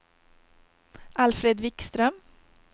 Alfred Wikström